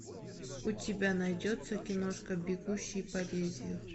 у тебя найдется киношка бегущий по лезвию